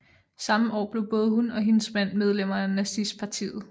Samme år blev både hun og hendes mand medlemmer af nazistpartiet